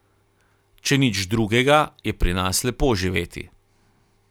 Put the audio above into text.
Če nič drugega, je pri nas lepo živeti.